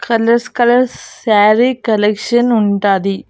Colours colours sari collection ఉంటాది.